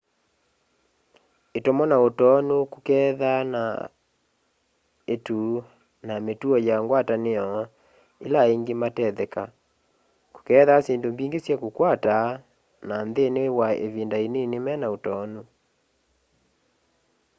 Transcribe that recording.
itomo na utoonu kukethaa na itu na ni mituo ya ngwatanio ila aingi matetheka kukethaa syindu mbingi sya kukwata na nthini wa ivinda inini mena utoonu